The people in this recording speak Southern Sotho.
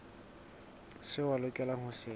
seo a lokelang ho se